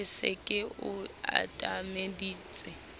ke se ke o atameditse